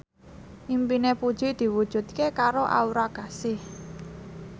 impine Puji diwujudke karo Aura Kasih